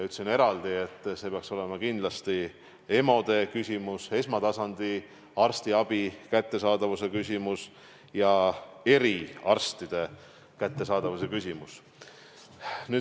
Ütlesin eraldi, et see peaks olema kindlasti EMO-de küsimus, esmatasandi arstiabi ja eriarstide kättesaadavuse küsimus.